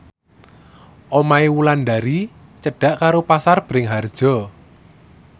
omahe Wulandari cedhak karo Pasar Bringharjo